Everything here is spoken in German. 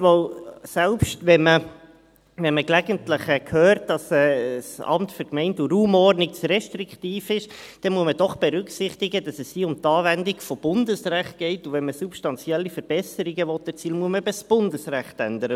Denn selbst wenn man gelegentlich hört, dass das Amt für Gemeinden und Raumordnung (AGR) zu restriktiv ist, muss man doch berücksichtigen, dass es hier um die Anwendung von Bundesrecht geht, und wenn man substanzielle Verbesserungen erzielen will, muss man eben Bundesrecht ändern.